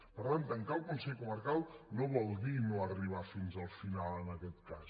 per tant tancar el consell comarcal no vol dir no arribar fins al final en aquest cas